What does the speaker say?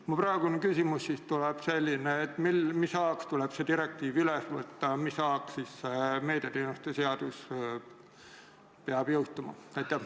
Mu praegune küsimus on selline: mis ajaks tuleb see direktiiv üle võtta ja mis ajaks meediateenuste seadus peab jõustuma?